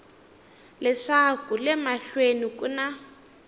leswaku le mahlweni ku na